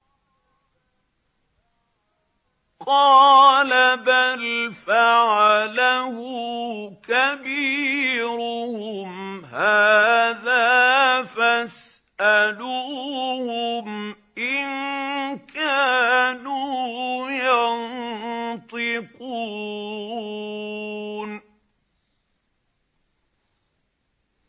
قَالَ بَلْ فَعَلَهُ كَبِيرُهُمْ هَٰذَا فَاسْأَلُوهُمْ إِن كَانُوا يَنطِقُونَ